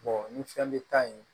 ni fɛn bɛ ta yen